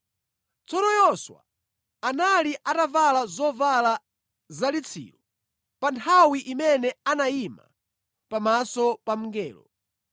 Tsono Yoswa anali atavala zovala zalitsiro pa nthawi imene anayima pamaso pa mngelo.